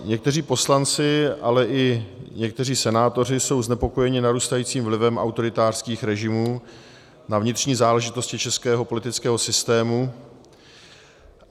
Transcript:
Někteří poslanci, ale i někteří senátoři jsou znepokojeni narůstajícím vlivem autoritářských režimů na vnitřní záležitosti českého politického systému.